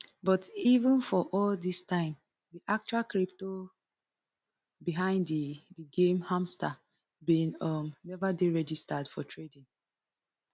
but even for all dis time di actual crypto behind di di game hmstr bin um neva dey registered for trading